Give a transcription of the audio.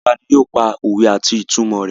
Gbogbo wa ni yóò pa òwe àti ìtumọ̀ rẹ̀.